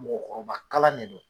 Mɔgɔkɔrɔba kalan de don